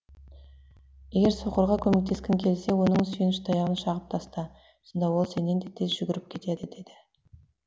егер соқырға көмектескің келсе оның сүйеніш таяғын шағып таста сонда ол сенен де тез жүгіріп кетеді деді